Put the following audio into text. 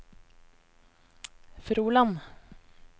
Froland